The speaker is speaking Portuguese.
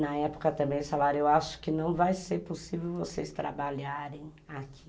Na época também eles falaram, eu acho que não vai ser possível vocês trabalharem